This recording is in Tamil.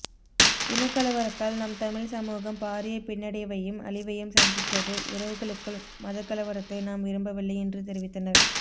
இனக்கலவரத்தால் நம் தமிழ் சமூகம் பாரிய பின்னடைவையும் அழிவையும் சந்தித்தது உறவுகளுக்குள் மதக்கலவரத்தை நாம் விரும்பவில்லை என்று தெரிவித்தனர்